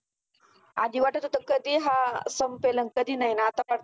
आधी वाटत होतं कधी हा संपेन आणि आता फक्त.